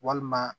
Walima